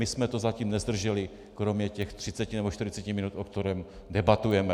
My jsme to zatím nezdrželi - kromě těch 30 nebo 40 minut, po které debatujeme.